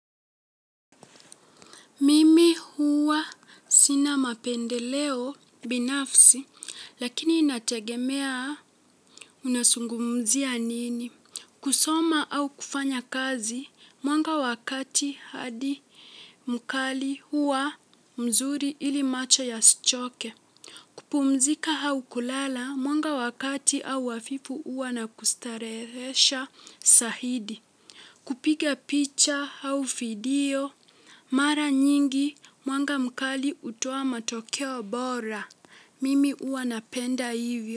Mimi huwa sina mapendeleo binafsi, lakini inategemea unazungumzia nini. Kusoma au kufanya kazi, mwanga wa kati hadi mkali huwa mzuri ili macho yasichoke. Kupumzika au kulala, mwanga wa kati au hafifu huwa na kustarehesha zaidi. Kupiga picha au video. Mara nyingi mwanga mkali hutoa matokeo bora. Mimi huwa napenda hivyo.